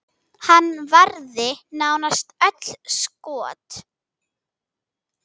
Hann varði nánast öll skot.